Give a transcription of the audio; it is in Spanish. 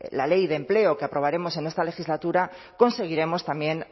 la ley de empleo que aprobaremos en esta legislatura conseguiremos también